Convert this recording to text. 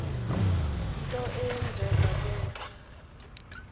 nto eyenzeke kuwe